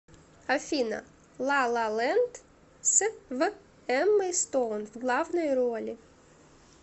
афина лалалэнд с в эммой стоун в главной роли